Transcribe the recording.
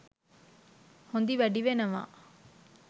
හොඳි වැඩි වෙනවා